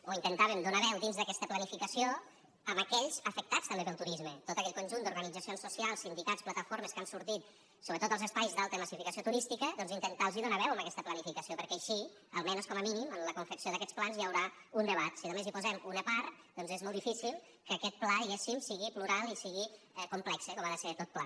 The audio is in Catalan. o intentàvem donar veu dins d’aquesta planificació a aquells afectats també pel turisme tot aquell conjunt d’organitzacions socials sindicats plataformes que han sortit sobretot als espais d’alta massificació turística doncs intentar los donar veu en aquesta planificació perquè així almenys com a mínim en la confecció d’aquests plans hi haurà un debat si només hi posem una part és molt difícil que aquest pla diguéssim sigui plural i sigui complex com ha de ser tot pla